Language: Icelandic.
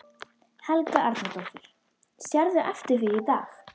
Jón Júlíus Karlsson: Í þrjú ár?